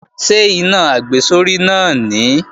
Ṣé iná àgbésórí náà nìí?